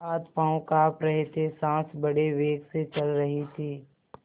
हाथपॉँव कॉँप रहे थे सॉँस बड़े वेग से चल रही थी